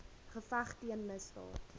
geveg teen misdaad